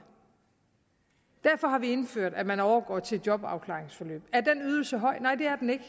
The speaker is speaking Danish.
derfor har vi indført at man overgår til et jobafklaringsforløb er den ydelse høj nej det er den ikke